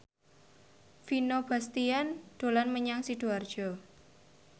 Vino Bastian dolan menyang Sidoarjo